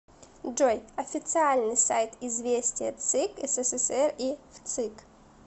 джой официальный сайт известия цик ссср и вцик